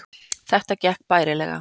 Þetta gekk bærilega